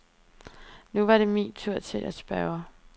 Nu var det min tur til at spørge.